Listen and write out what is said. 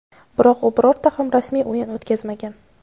biroq u birorta ham rasmiy o‘yin o‘tkazmagan.